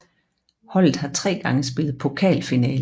Holdet har tre gange spillet pokalfinale